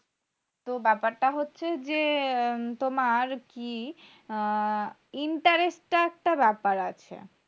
তো ব্যাপারটা হচ্ছে যে তোমার কি হমম interest টা একটা ব্যাপার আছে।